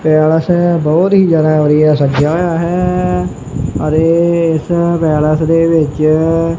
palace ਬਹੁਤ ਹੀ ਜਿਆਦਾ ਵਧੀਆ ਸਜਿਆ ਹੋਇਆ ਹੈ ਅਤੇ ਇਸ ਪੈਲੇਸ ਦੇ ਵਿੱਚ --